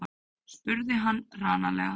spurði hann hranalega.